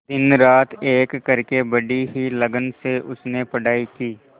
दिनरात एक करके बड़ी ही लगन से उसने पढ़ाई की